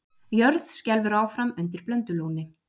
Jörð skelfur áfram undir Blöndulóni